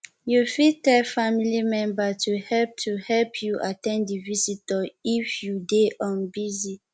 you fit tell family member to help to help you at ten d to the visitor if you dey busy